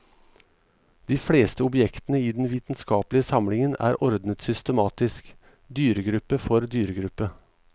De fleste objektene i den vitenskapelige samlingen er ordnet systematisk, dyregruppe for dyregruppe.